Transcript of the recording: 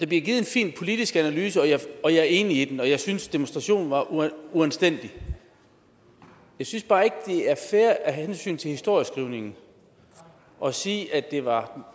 givet en fin politisk analyse og jeg er enig i den og jeg synes demonstrationen var uanstændig jeg synes bare ikke det er fair af hensyn til historieskrivningen at sige at det var